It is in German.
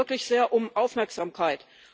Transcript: Ich bitte hier wirklich sehr um Aufmerksamkeit.